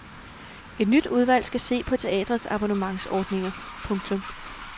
Et nyt udvalg skal se på teatres abonnementsordninger. punktum